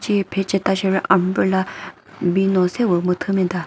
che phe cheta sheri umbrella bino sepü müthü müta.